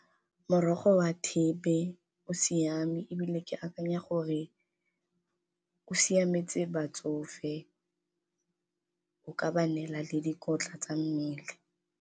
Morogo wa thepe o siame ebile ke akanya gore o siametse batsofe, o ka ba neela le dikotla tsa mmele.